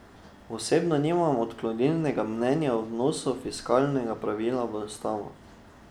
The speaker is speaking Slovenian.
Osebno nimam odklonilnega mnenja o vnosu fiskalnega pravila v ustavo.